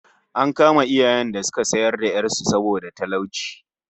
An kama iyayen da suka sayar da 'yar su saboda talauci